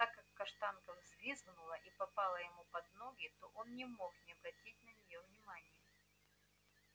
так как каштанка взвизгнула и попала ему под ноги то он не мог не обратить на неё внимания